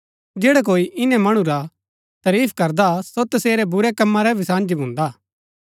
जैडा कोई इन्‍नै मणु रा तरीफ करदा सो तसेरै बुरै कम्मा रा भी साझी भुन्दा